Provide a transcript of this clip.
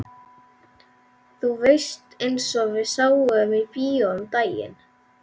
Þú veist eins og við sáum í bíó um daginn.